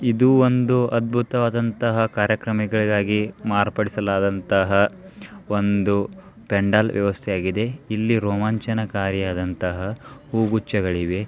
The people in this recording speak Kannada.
ಇದು ಒಂದು ಅದ್ಭುತವಾದನಂತಹ ಕಾರ್ಯಕ್ರಮಗಾಗಿ ಮಾರ್ಪಡಿಸಲಾದನಂತಹ ಒಂದು ಪೆಂಡಾಲ್ ವ್ಯವಸ್ಥೆವಾಗಿದೆ ಇಲ್ಲಿ ರೋಮಾಂಚನಕಾರಿಯಾದಂತಹ ಹೂ ಗುಚ್ಚಗಳಿವೆ.